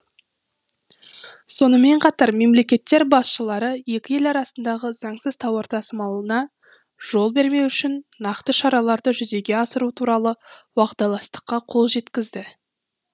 сонымен қатар мемлекеттер басшылары екі ел арасындағы заңсыз тауар тасымалына жол бермеу үшін нақты шараларды жүзеге асыру туралы уағдаластыққа қол жеткізді